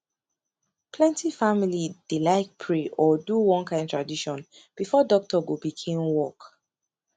plenty family dey like pray or do one kin tradition before doctor go begin work